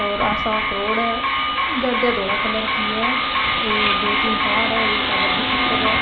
और आ साफ रोड है गाड़िया धोला कलर की है ये दो तीन कार है एक आ बड़ी पिकप है।